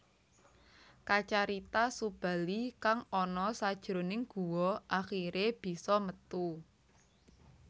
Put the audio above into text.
Kacarita Subali kang ana sajroning guwa akhiré bisa metu